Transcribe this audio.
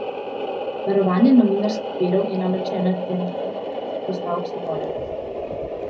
Varovanje novinarskih virov je namreč ena temeljnih predpostavk svobode tiska.